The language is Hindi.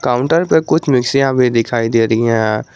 काउंटर पे कुछ मिक्सियां भी दिखाई दे रही है।